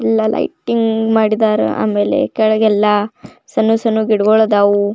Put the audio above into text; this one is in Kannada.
ಇಲ್ಲಿ ಲೈಟಿಂನ್ಗ್ ಮಾಡಿದ್ದರ ಆಮೇಲೆ ಕಕೆಳಗೆಲ್ಲ ಸಣ್ಣ ಸಣ್ಣ ಗಿಡಗಳು ಅದಾವು.